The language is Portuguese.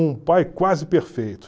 Um pai quase perfeito.